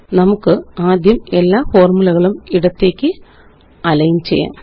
നമുകാദ്യം എല്ലാ ഫോര്മുലകളും ഇടത്തേക്ക് അലൈന്ചെയ്യാം